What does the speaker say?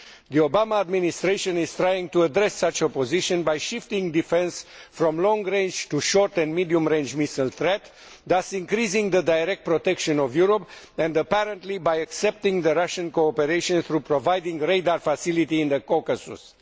The Obama Administration is trying to address such a position by shifting defence from the long range to the short and medium range missile threat, thus increasing the direct protection of Europe, and apparently by accepting Russian cooperation through providing a radar facility in the Caucasus.